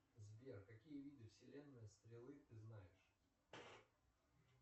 сбер какие виды вселенной стрелы ты знаешь